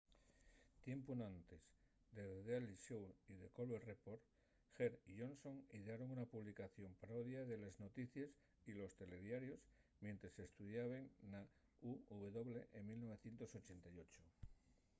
tiempu enantes de the daily show y the colbert report heck y johnson idearon una publicación parodia de les noticies y los telediarios mientres estudiaben na uw en 1988